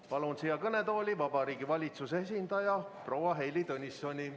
Palun siia kõnetooli Vabariigi Valitsuse esindaja proua Heili Tõnissoni.